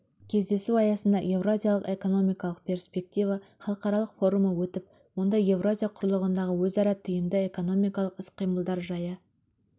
кездесу аясында еуразиялық экономикалық перспектива халықаралық форумы өтіп онда еуразия құрлығындағы өзара тиімді экономикалық іс-қимылдар жайы